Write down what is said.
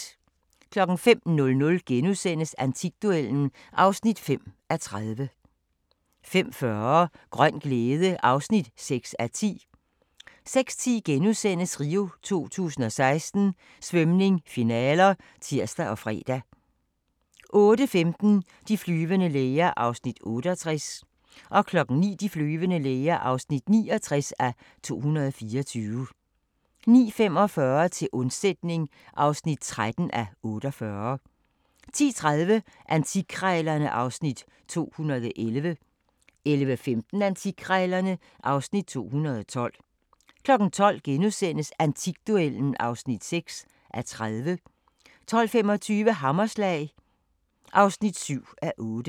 05:00: Antikduellen (5:30)* 05:40: Grøn glæde (6:10) 06:10: RIO 2016: Svømning, finaler *(tir og fre) 08:15: De flyvende læger (68:224) 09:00: De flyvende læger (69:224) 09:45: Til undsætning (13:48) 10:30: Antikkrejlerne (Afs. 211) 11:15: Antikkrejlerne (Afs. 212) 12:00: Antikduellen (6:30)* 12:25: Hammerslag (7:8)